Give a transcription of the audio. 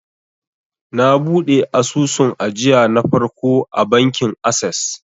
na buɗe asusun ajiya na farko a bankin ases